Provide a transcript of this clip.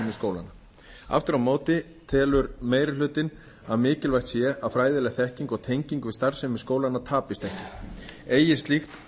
skólanna aftur á móti telur meiri hlutinn að mikilvægt sé að fræðileg þekking og tenging við starfsemi skólanna tapist ekki eigi slíkt